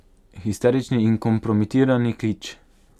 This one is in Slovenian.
Histerični in kompromitirani kič.